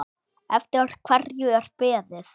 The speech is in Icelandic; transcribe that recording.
Eftir hverju er beðið?